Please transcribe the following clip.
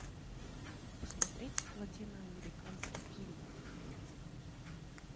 посмотреть латиноамериканский фильм